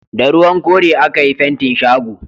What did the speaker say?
Da ruwan kore a ka yi fentin shago